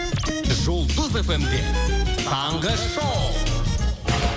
жұлдыз фм де таңғы шоу